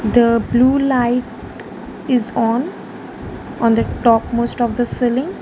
the blue light is on on the top most of the ceiling.